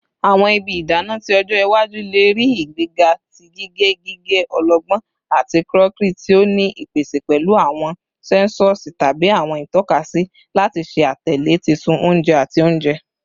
Awọn ibi idana ti ọjọ iwaju le rii igbega ti gige gige ọlọgbọn ati crockery, ti o ni ipese pẹlu awọn sensosi tabi awọn itọkasi lati ṣe atẹle titun ounje ati ounjẹ.